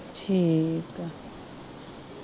ਠੀਕ ਆ